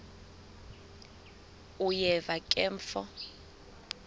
uyeva ke mfo